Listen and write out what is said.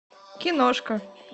киношка